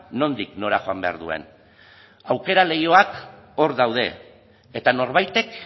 nondik nora joan behar duen aukera leihoak hor daude eta norbaitek